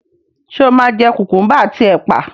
Ṣé o máa jẹ kùkúḿbà àti ẹ̀pà